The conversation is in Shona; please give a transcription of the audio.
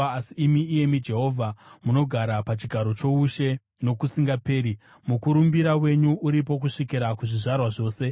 Asi imi, iyemi Jehovha, munogara pachigaro choushe nokusingaperi; mukurumbira wenyu uripo kusvikira kuzvizvarwa zvose.